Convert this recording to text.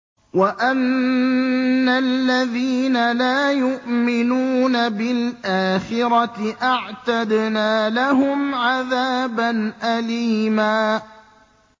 وَأَنَّ الَّذِينَ لَا يُؤْمِنُونَ بِالْآخِرَةِ أَعْتَدْنَا لَهُمْ عَذَابًا أَلِيمًا